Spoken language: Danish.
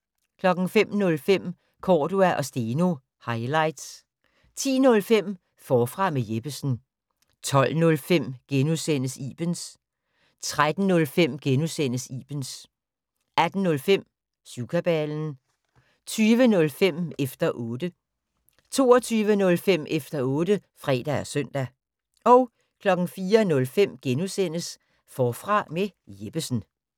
05:05: Cordua & Steno - highlights 10:05: Forfra med Jeppesen 12:05: Ibens * 13:05: Ibens * 18:05: Syvkabalen 20:05: Efter 0tte 22:05: Efter otte (fre og søn) 04:05: Forfra med Jeppesen *